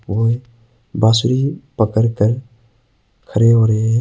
ओ बांसुरी पड़कर खड़े हो रहे हैं।